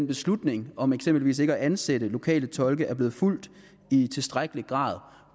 beslutningen om eksempelvis ikke at ansætte lokale tolke er blevet fulgt i tilstrækkelig grad